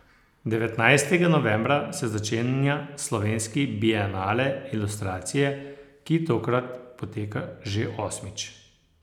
Devetnajstega novembra se začenja Slovenski bienale ilustracije, ki tokrat poteka že osmič.